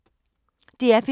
DR P3